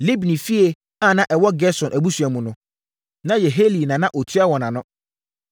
Libni fie a na ɛwɔ Gerson abusua mu no, na Yehieli na na ɔtua wɔn ano.